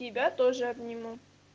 тебя тоже обниму